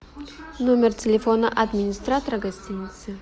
номер телефона администратора гостиницы